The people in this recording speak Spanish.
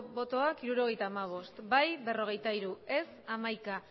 votación setenta y cinco votos emitidos cuarenta y tres votos a